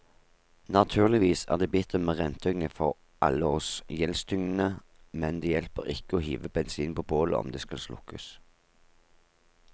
Naturligvis er det bittert med renteøkning for alle oss gjeldstyngede, men det hjelper ikke å hive bensin på bålet om det skal slukkes.